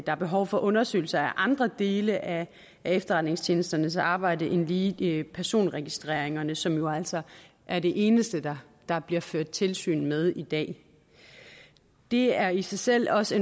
er behov for undersøgelser af andre dele af efterretningstjenesternes arbejde end lige lige personregistreringerne som jo altså er det eneste der der bliver ført tilsyn med i dag det er i sig selv også